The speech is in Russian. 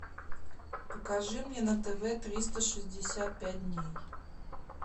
покажи мне на тв триста шестьдесят пять дней